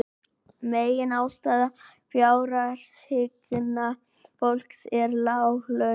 Meginástæða fjárhagsáhyggna fólks eru lág laun